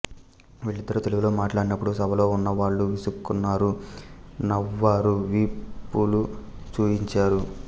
వీళ్లిద్దరు తెలుగులో మాట్లాడినప్పుడు సభలో ఉన్న వాళ్లు విసుక్కున్నారు నవ్వారు వీపులు చూయించారు